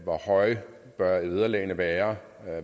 hvor høje bør vederlagene være